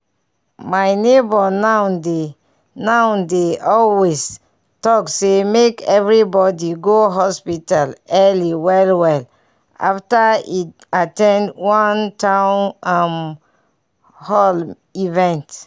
my neighbor now dey now dey always talk say make everybody go hospital early well well after e at ten d one town um hall event.